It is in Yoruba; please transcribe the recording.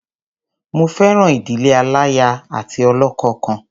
Mo fẹ́ràn ìdílé aláya àti ọlọ́kọ kan.